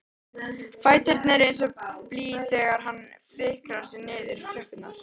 Fæturnir eins og blý þegar hann fikrar sig niður tröppurnar.